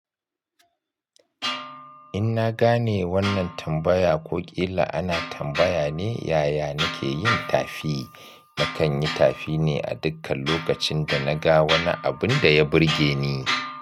In na gane wannan tambaya ko ƙila ana tambaya ne yaya nake yin tafi. Na kan yi tafi ne a dukkan lokacin da na ga wani abun da ya burge ni.